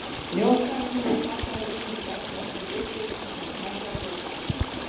Njósnararnir voru kallaðir út undir bert loft og litið sem snöggvast yfir fatnað þeirra.